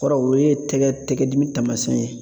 O kɔrɔ o ye, o ye tɛgɛ tɛgɛ dimi taamasiyɛn ye.